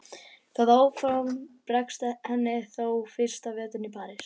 Það áform bregst henni þó fyrsta veturinn í París.